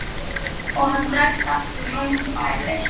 Og hann dregst aftur heim í bæli.